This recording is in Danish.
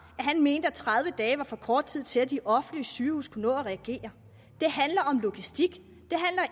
at han mente at tredive dage var for kort tid til at de offentlige sygehuse kunne nå at reagere det handler om logistik